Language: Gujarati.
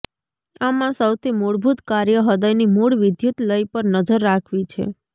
આમાં સૌથી મૂળભૂત કાર્ય હૃદયની મૂળ વિદ્યુત લય પર નજર રાખવી છે